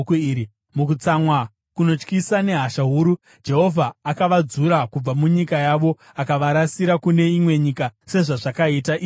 Mukutsamwa kunotyisa nehasha huru Jehovha akavadzura kubva munyika yavo akavarasira kune imwe nyika sezvazvakaita iye zvino.”